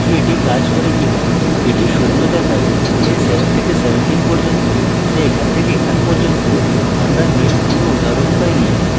এটি শূন্য দেখায় তাই 7 থেকে 17 যা এখান থেকে এখান পর্যন্তআমরা name কোনো উদাহরণ পাইনি